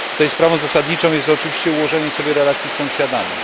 Sprawą zasadniczą jest tutaj oczywiście ułożenie sobie relacji z sąsiadami.